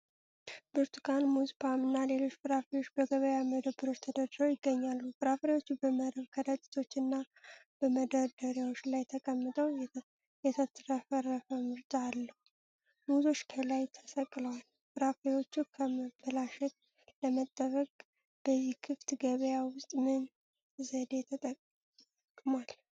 ብርቱካን፣ ሙዝ፣ ፖም እና ሌሎች ፍራፍሬዎች በገበያ መደብሮች ተደርድረው ይገኛሉ። ፍራፍሬዎቹ በመረብ ከረጢቶች እና በመደርደሪያዎች ላይ ተቀምጠው የተትረፈረፈ ምርጫ አለው። ሙዞች ከላይ ተሰቅለዋል። ፍራፍሬዎቹ ከመበላሸት ለመጠበቅ በዚህ ክፍት ገበያ ውስጥ ምን ዘዴ ተጠቅሟል?